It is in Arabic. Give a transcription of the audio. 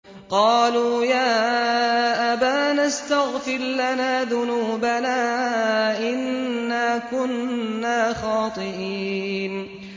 قَالُوا يَا أَبَانَا اسْتَغْفِرْ لَنَا ذُنُوبَنَا إِنَّا كُنَّا خَاطِئِينَ